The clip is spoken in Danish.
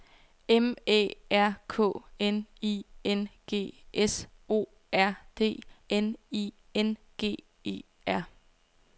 M Æ R K N I N G S O R D N I N G E R